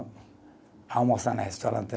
Almoçar no restaurante